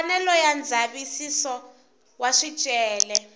mfanelo ya ndzavisiso wa swicelwa